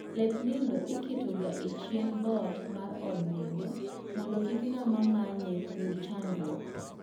Lep nindo iketo ga e chien dhoot mar od nindo mondo kik ng'ama manye yud chandruok